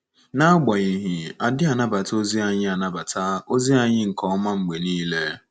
N'agbanyeghị, a dịghị anabata ozi anyị anabata ozi anyị nke ọma mgbe nile.